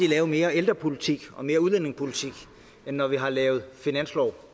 lavet mere ældrepolitik og mere udlændingepolitik end når vi har lavet finanslov